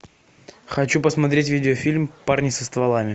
хочу посмотреть видеофильм парни со стволами